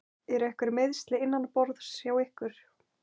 Eru einhver meiðsli innanborðs hjá ykkur?